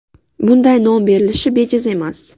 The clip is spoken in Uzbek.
Bunday nom berilishi bejiz emas.